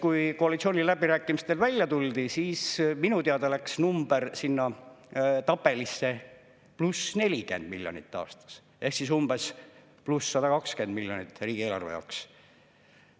Kui koalitsiooniläbirääkimistel välja tuldi, siis minu teada läks number sinna tabelisse pluss 40 miljonit aastas ehk umbes pluss 120 miljonit riigieelarve jaoks.